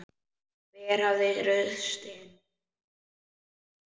Hver hafði ruðst inn?